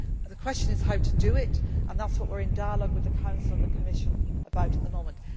up fragmented again. The question is how to do it, and that is why we are in dialogue with the Council and the Commission